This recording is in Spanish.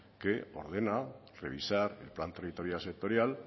que ordena revisar el plan territorial sectorial